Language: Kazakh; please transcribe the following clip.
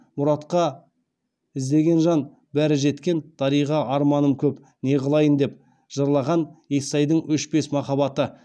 мұратқа іздеген жан бәрі жеткен дариға арманым көп не қылайын деп жырлаған естайдың өшпес махаббаты